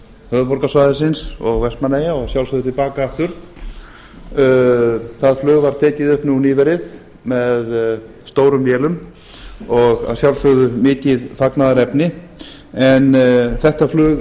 höfuðborgarsvæðisins og vestmannaeyja og að sjálfsögðu til baka aftur það flug var tekið upp nú nýverið með stórum vélum og að sjálfsögðu mikið fagnaðarefni en þetta flug